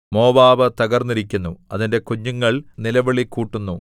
Moab തകർന്നിരിക്കുന്നു അതിന്റെ കുഞ്ഞുങ്ങൾ നിലവിളികൂട്ടുന്നു